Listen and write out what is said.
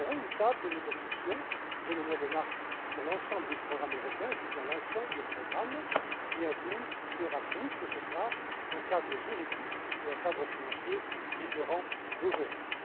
Et nous aurons une table de négociations, dès le mois de mars, sur l'ensemble des programmes européens je dis bien l'ensemble des programmes, y compris Erasmus mais ce sera avec un cadre juridique et un cadre financier différents d'aujourd'hui.